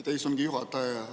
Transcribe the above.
Aitäh, istungi juhataja!